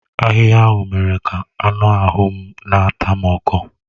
Ahịhịa ahụ mere ka anụ ahụ m na-ata m ọkọ.